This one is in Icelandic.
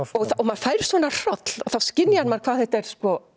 og maður fær svona hroll þá skynjar maður hvað þetta er